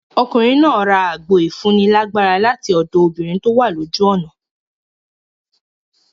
Ọkùnrin náà ra àgbo ìfúni lágbára lati ọ̀dọ̀ obìnrin tówà lójú ọ̀nà.